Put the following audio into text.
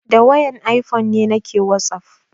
Da wayar ifone nake wasaf